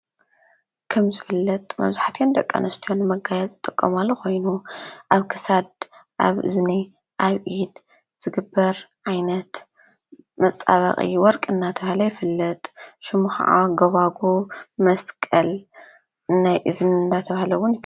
ከም ዝፈለጥ መብዛሕቲኤን ደቂ ኣንስትዮ ንመጋየፂ ዝጥቀማሉ ኮይኑ ኣብ ክሳድ ፣ኣብ እዝኒ፣ ኣብ ኢድ ዝግበር ዓይነት መፃበቂ ወርቂ እንዳተባሃለ ይፍለጥ ሽሙ ከዓ ጎባጉብ ፣መስቀል ናይ እዝኒ እንዳተባሃለ እውን ይፍለጥ።